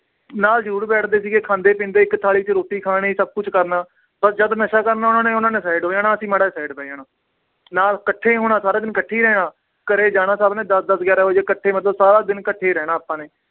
ਨਾਲ ਜ਼ਰੂਰ ਬੈਠਦੇ ਸੀਗੇ ਖਾਂਦੇ ਪੀਂਦੇ ਇੱਕ ਥਾਲੀ 'ਚ ਰੋਟੀ ਖਾਣੀ ਸਭ ਕੁਛ ਕਰਨਾ, ਪਰ ਜਦ ਨਸ਼ਾ ਕਰਨਾ ਉਹਨਾਂ ਨੇ ਉਹਨਾਂ ਨੇ side ਹੋ ਜਾਣਾ ਅਸੀਂ ਮਾੜਾ ਜਿਹਾ side ਬਹਿ ਜਾਣਾ ਨਾਲ ਇਕੱਠੇ ਹੋਣਾ ਸਾਰਾ ਦਿਨ ਇਕੱਠੇ ਹੀ ਰਹਿਣਾ ਘਰੇ ਜਾਣਾ ਸਭ ਨੇ ਦਸ ਦਸ ਗਿਆਰਾਂ ਵਜੇ ਇਕੱਠੇ ਮਤਲਬ ਸਾਰਾ ਦਿਨ ਇਕੱਠੇ ਰਹਿਣਾ ਆਪਾਂ ਨੇ